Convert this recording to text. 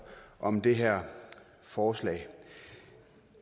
om det her forslag